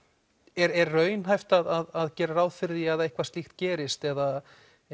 er raunhæft að gera ráð fyrir því að eitthvað slíkt gerist eða